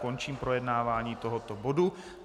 Končím projednávání tohoto bodu.